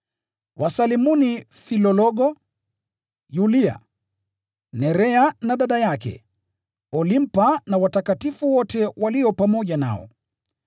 Wasalimuni Filologo, Yulia, Nerea na dada yake, na Olimpa na watakatifu wote walio pamoja nao.